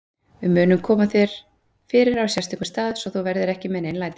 Við munum koma þér fyrir á sérstökum stað, svo þú verðir ekki með nein læti.